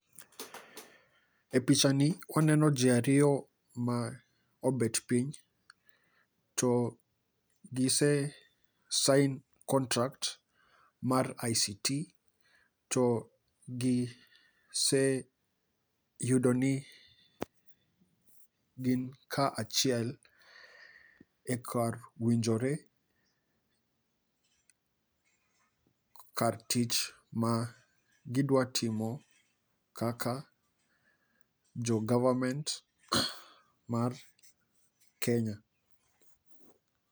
E picha ni kwaneno ji ariyo ma obet piny, to gise sign contract mar ICT. To gi se yudo ni gin ka achiel ekar winjore, kar tich ma gidwa timo kaka jo government mar Kenya.